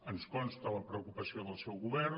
ens consta la preocupació del seu govern